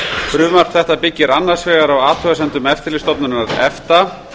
frumvarp þetta byggir annars vegar á athugasemdum eftirlitsstofnunar efta